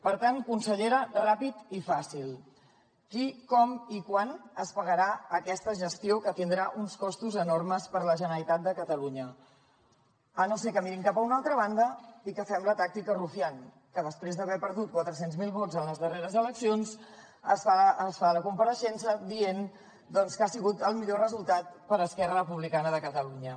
per tant consellera ràpid i fàcil qui com i quan es pagarà aquesta gestió que tindrà uns costos enormes per a la generalitat de catalunya a no ser que mirin cap a una altra banda i que fem la tàctica rufián que després d’haver perdut quatre cents miler vots en les darreres eleccions fa la compareixença dient que ha sigut el millor resultat per a esquerra republicana de catalunya